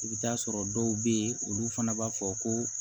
I bɛ taa sɔrɔ dɔw bɛ yen olu fana b'a fɔ ko